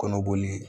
Kɔnɔboli